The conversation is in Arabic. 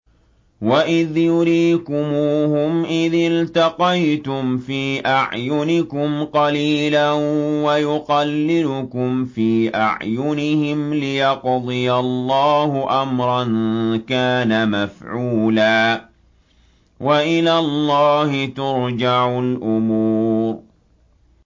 وَإِذْ يُرِيكُمُوهُمْ إِذِ الْتَقَيْتُمْ فِي أَعْيُنِكُمْ قَلِيلًا وَيُقَلِّلُكُمْ فِي أَعْيُنِهِمْ لِيَقْضِيَ اللَّهُ أَمْرًا كَانَ مَفْعُولًا ۗ وَإِلَى اللَّهِ تُرْجَعُ الْأُمُورُ